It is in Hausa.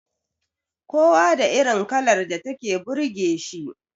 Kowa da irin kalar da take burge shi